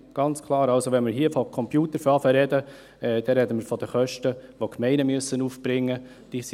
Wenn wir hier anfangen, über Computer zu sprechen, sprechen wir von Kosten, die die Gemeinden aufbringen müssen.